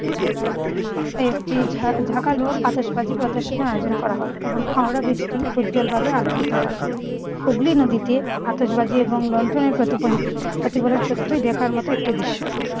একটি ঝাঁ ঝাঁকালো আতশবাজি প্রদর্শনের আয়োজন করা হয় এবং হাওড়া ব্রীজটি উজ্জ্বলভাবে আলোকিত হয়। হুগলী নদীতে আতশবাজি এবং লন্ডনের প্রতিফলিত প্রতিফলন সত্যিই দেখার মত একটি দৃশ্য।